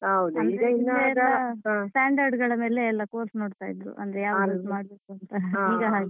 ಈಗ standard ಗಳ ಮೇಲೆ ಎಲ್ಲಾ course ನೋಡ್ತಾ ಇದ್ರು.